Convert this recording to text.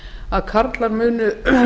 að karlar munu